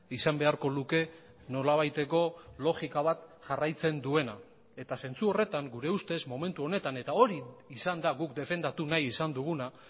izan beharko luke nolabaiteko logika bat jarraitzen duena eta zentzu horretan gure ustez momentu honetan eta hori izan da guk defendatu nahi izan duguna